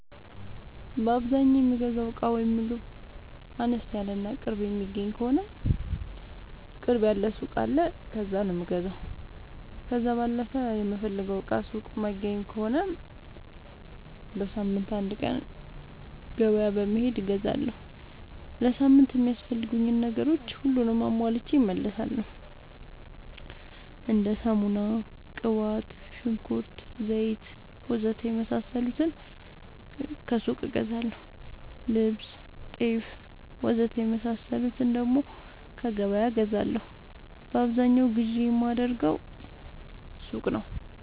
በአዛኛው የምገዛው እቃ ወይም ምግብ አነስ ያለ እና ቅርብ የሚገኝ ከሆነ ቅርብ ያለ ሱቅ አለ ከዛ ነው የምገዛው። ከዛ ባለፈ የምፈልገውን እቃ ሱቅ ላይ የማይገኝ ከሆነ በሳምንት አንድ ቀን ገበያ በመሄድ እገዛለሁ። ለሳምንት የሚያስፈልጉኝ ነገሮች ሁሉንም አሟልቼ እመለሣለሁ። እንደ ሳሙና፣ ቅባት፣ ሽንኩርት፣ ዘይት,,,,,,,,, ወዘተ የመሣሠሉትን ከሱቅ እገዛለሁ። ልብስ፣ ጤፍ,,,,,,,,, ወዘተ የመሣሠሉትን ከገበያ እገዛለሁ። በአብዛኛው ግዢ የማደርገው ሱቅ ነው።